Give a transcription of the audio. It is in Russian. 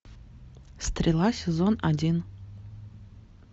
стрела сезон один